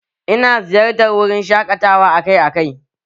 Ina ziyartar wurin shaƙatawa akai akai